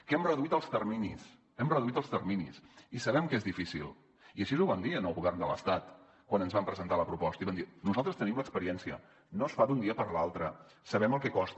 que hem reduït els terminis hem reduït els terminis i sabem que és difícil i així ho vam dir al govern de l’estat quan ens van presentar la proposta i vam dir nosaltres tenim experiència no es fa d’un dia per l’altre sabem el que costa